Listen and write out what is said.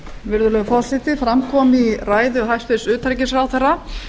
virðulegur forseti fram kom í ræðu hæstvirts utanríkisráðherra